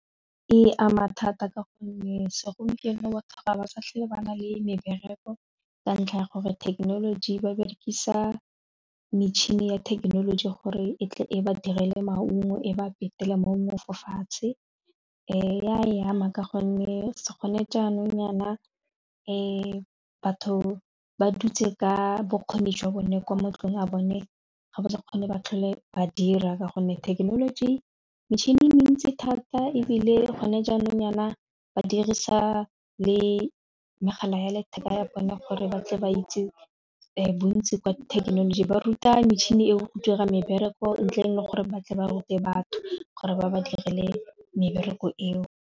E ama thata ka gonne segompieno batho ga ba sa tlhele ba na le mebereko ka ntlha ya gore thekenoloji ba berekisa metšhini ya thekenoloji gore e tle e ba direle maungo e ba petela maungo fo fatshe ya e ama ka gonne se gone jaanong nyana batho ba dutse ka bokgoni jwa bone kwa mantlong a bone ga ba sa kgone ba tlhole ba dira ka gonne thekenoloji metšhini e mentsi thata ebile gone jaanong nyana ba dirisa le megala ya letheka ya bone gore ba tle ba itse bontsi kwa thekenoloji ba ruta metšhini eo go dira mebereko ntle le gore ba tle ba rute batho gore ba ba dirile mebereko eo.